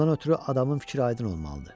Ondan ötrü adamın fikri aydın olmalıdır.